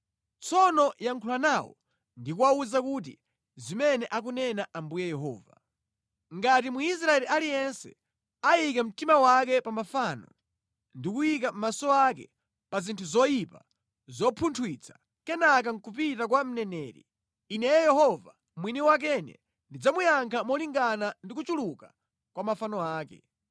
Tsono yankhula nawo ndi kuwawuza kuti zimene akunena Ambuye Yehova: ‘Ngati Mwisraeli aliyense ayika mtima wake pa mafano ndi kuyika maso ake pa zinthu zoyipa zopunthwitsa, kenaka nʼkupita kwa mneneri, Ineyo Yehova mwini wakene ndidzamuyankha molingana ndi kuchuluka kwa mafano ake.